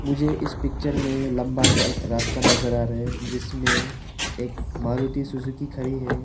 मुझे इस पिक्चर में लंबा सा एक रास्ता नजर आ रहा है जिसमें एक मारुति सुजुकी खड़ी है।